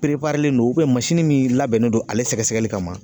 non min labɛnnen don ale sɛgɛsɛgɛli kama